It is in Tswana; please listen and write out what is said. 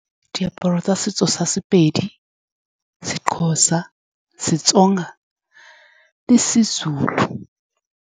Diaparo tsa setso sa Sepedi, seXhosa, seTsonga le seZulu.